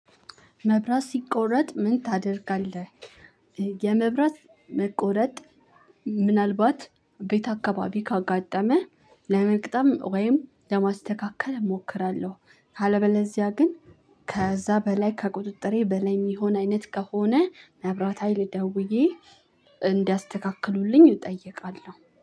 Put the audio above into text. መብራት ሲቆረጥ ምን ታደርጋለህ? የመብራት መቆረጥ ምናልባት ቤት አካባቢ ካጋጠመህ ለመቅጠም ወይም ለማስተካከል እሞክራለሁ። ካለበለዚያ ግን ከዛ በላይ ከቁጥጥሬ በላይ የሚሆን አይነት ከሆነ መብራት ሀይል ደውዬ እንዲያስተካክሉልኝ እጠይቃለሁ